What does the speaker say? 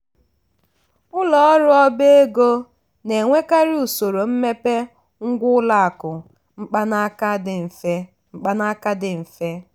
ụlọ ọrụ ọba ego na-enyekarị usoro mmepe ngwá ụlọ akụ mkpanaka dị mfe mkpanaka dị mfe